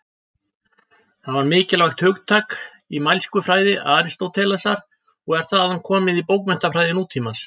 Það var mikilvægt hugtak í mælskufræði Aristótelesar og er þaðan komið í bókmenntafræði nútímans.